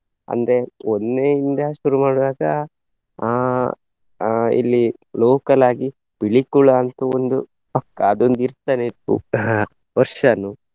ಅಂದ್ರೆ ಒಂದ್ನೆಯಿಂದ ಶುರು ಮಾಡುವಾಗ ಅಹ್ ಅಹ್ ಇಲ್ಲಿ local ಆಗಿ ಪಿಲಿಕುಳ ಅಂತೂ ಒಂದು ಪಕ್ಕಾ ಅದೊಂದು ಇರ್ತನೇ ಇತ್ತು ವರ್ಷನೂ.